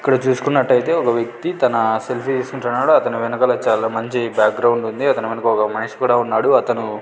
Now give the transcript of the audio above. ఇక్కడ చూసుకున్నట్టయితే ఒక వ్యక్తి తన సెల్ఫీ తీసుకుంటున్నాడు అతని వెనకాల చాలా మంచి బ్యాక్ గ్రౌండ్ ఉంది అతని వెనకాల ఒక మనిషి కూడా ఉన్నాడు అతను --